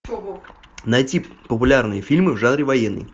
найти популярные фильмы в жанре военный